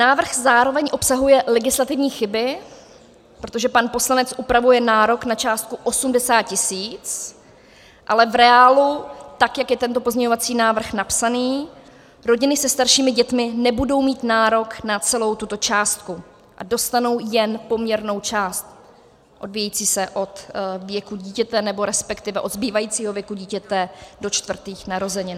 Návrh zároveň obsahuje legislativní chyby, protože pan poslanec upravuje nárok na částku 80 tisíc, ale v reálu, tak jak je tento pozměňovací návrh napsaný, rodiny se staršími dětmi nebudou mít nárok na celou tuto částku a dostanou jen poměrnou část odvíjející se od věku dítěte nebo respektive od zbývajícího věku dítěte do čtvrtých narozenin.